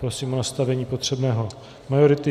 Prosím o nastavení potřebné majority.